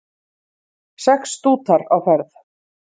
Sex stútar á ferð